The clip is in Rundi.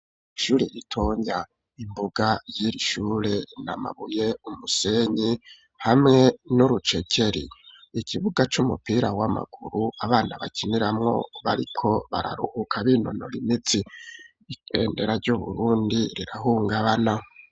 Ishure ritonya imbuga y'ishure n'amabuye umusenyi hamwe n'urucekeri ikibuga c'umupira w'amaguru abana bakiniramwo bariko bararuhuka binonora imitsi ibendera ryu Burundi rirahungabana.